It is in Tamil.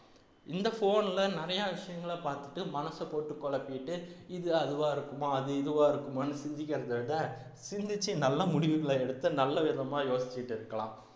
இந்த phone ல நிறையா விஷயங்களை பார்த்துட்டு மனச போட்டு குழப்பிட்டு இது அதுவா இருக்குமா அது இதுவா இருக்குமான்னு சிந்திக்கிறதை விட சிந்திச்சு நல்ல முடிவுகளை எடுத்து நல்ல விதமா யோசிச்சிட்டு இருக்கலாம்